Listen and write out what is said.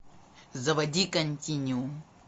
заводи континуум